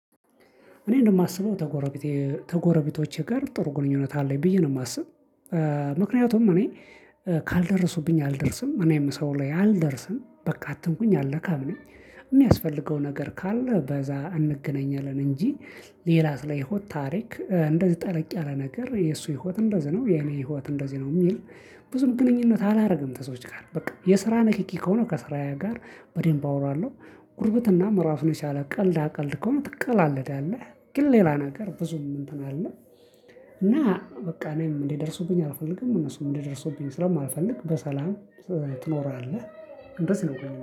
እኔ እንደማስበው ተጎረቤቶቼ ጋር ጥሩ ግንኙነት አለኝ ብዬ ነው የማስብ ምክንያቱም እኔ ካልደረሱብኝ አልደርስም እኔም ሰው ላይ አልደርስም በቃ አትምኩኝ አልለካም ነኝ የሚያስፈልገው ነገር ካለ በዛ እንገናኛለን እንጂ ሌላ ስለ ህይወት ታሪክ እንደዚህ ጠለቅ ያለ ነገር የእሱ ህይወት እንደዚህ ነው የኔ ህይወት እንደዚህ ነው የሚል ብዙም ግንኙነት አላደርግም ተሰዎች ጋር በቃ የስራ ንክኪ ከሆነ ከስራዬ ጋር በደንብ አወራለሁ። ጉርብትና እራሱን የቻለ ቀልዳ ቀልድ ከሆነ ትቀላለዳለህ ግን ሌላ ነገር ብዙም እንትን አልልም እና በቃ እኔም እንዲደርሱብኝ አልፈልግም እነሱም እንዲደርሱብኝ ስለማልፈልግ በሰላም ትኖራለህ እንደዚህ ነው።